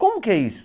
Como que é isso?